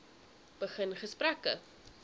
begin gesprekke